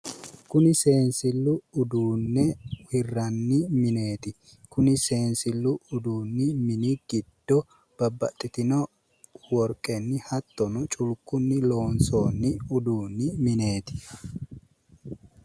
Kuni seensillu uduunne hirranni mineeti, kuni seensillu uduunni mini giddo babbaxxitino worqqenni hattonni culkkunni loonsoonni uduunni mineeti.